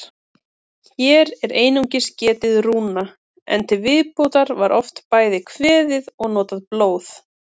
Hér er einungis getið rúna, en til viðbótar var oft bæði kveðið og notað blóð.